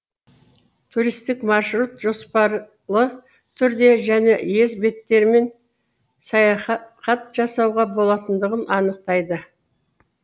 туристік маршрут жоспарлы түрде және ез беттерімен саяхат жасауға болатындығын анықтайды